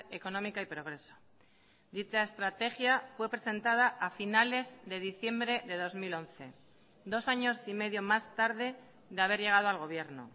económica y progreso dicha estrategia fue presentada a finales de diciembre de dos mil once dos años y medio más tarde de haber llegado al gobierno